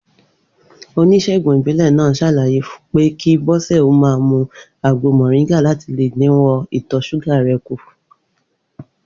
Onís̩ègùn ìbílè̩ náà s̩àlàyé pé kí Bó̩sè̩ ó máa mu àgbo mò̩ríngà láti le dínwó̩ ìtò̩ s̩úgà rè̩ kù